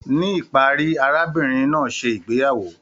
Ní ìparí, arábìnrin náà ṣe ìgbéyàwó.